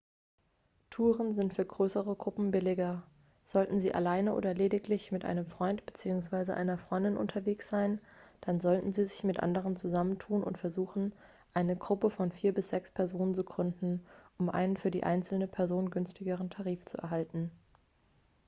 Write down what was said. touren sind für größere gruppen billiger sollten sie alleine oder lediglich mit einem freund bzw. einer freundin unterwegs sein dann sollten sie sich mit anderen zusammentun und versuchen eine gruppe von vier bis sechs personen zu gründen um einen für die einzelne person günstigeren tarif zu erhalten